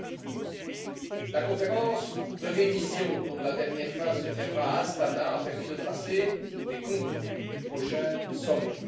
Rouček. La conférence de révision, dont la dernière phase se tiendra à Astana, a permis de tracer les contours du prochain sommet.